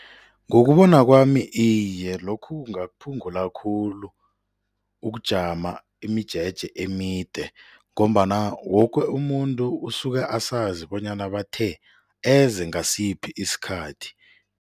Ngokubona kwami iye, lokhu kungakuphungula khulu ukujama imijeje emide ngombana woke umuntu usuke asazi bonyana bathe eze ngasiphi isikhathi.